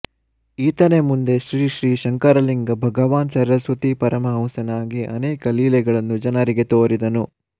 ಈತನೇ ಮುಂದೆ ಶ್ರೀ ಶ್ರೀ ಶಂಕರಲಿಂಗ ಭಗವಾನ್ ಸರಸ್ವತೀ ಪರಮಹಂಸನಾಗಿ ಅನೇಕ ಲೀಲೆಗಳನ್ನು ಜನರಿಗೆ ತೋರಿದನು